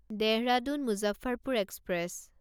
Dehradun Muzaffarpur express